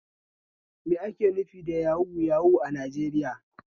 Me ake nufi da yahu yahu a Najeriya?